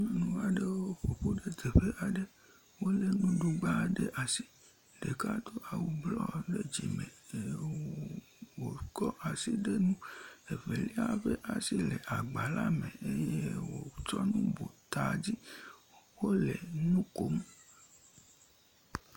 Nyɔnuaɖewo ƒoƒu ɖe teƒe aɖe, wole nuɖugba ɖe asi, ɖeka do awu bluɔ ɖe dzime eye wokɔ asi de nu, evelia ƒe asi le agba la me eye wotsɔ nu bu tadzi le nukom.